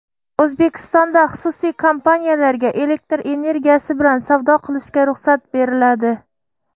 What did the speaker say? O‘zbekistonda xususiy kompaniyalarga elektr energiyasi bilan savdo qilishga ruxsat beriladi.